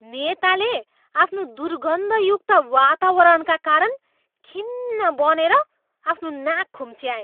नेताले आफ्नो दुर्गन्धयुक्त वातावरणका कारण खिन्न बनेर आफ्नो नाक खुम्च्याए।